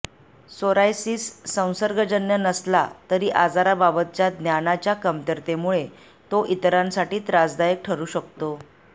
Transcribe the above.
psoriasis संसर्गजन्य नसला तरी आजाराबाबतच्या ज्ञानाच्या कमतरतेमुळे तो इतरांसाठी त्रासदायक ठरू शकतो